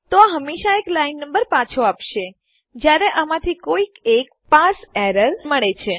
તો આ અમને હંમેશા એક લાઈન નંબર પાછો આપશે જયારે અમને આમાંથી કોઈક એક પાર્સે એરર્સ મળે છે